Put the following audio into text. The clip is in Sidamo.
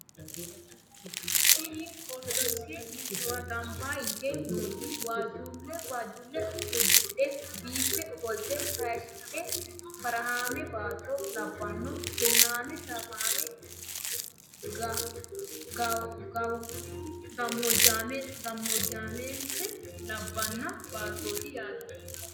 tini ortodokise mittowa gamba yite nooti waajjulle udidhe biife ofolte hayshidhe barahaame baatto labbanno kinnaame shaafaame gammmoojjennita labbanno baattooti yaate